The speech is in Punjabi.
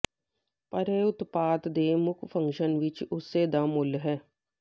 ਪਰ ਇਹ ਉਤਪਾਦ ਦੇ ਮੁੱਖ ਫੰਕਸ਼ਨ ਵਿੱਚ ਉਸੇ ਦਾ ਮੁੱਲ ਹੈ